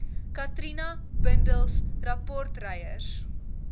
katrina bundels rapportryers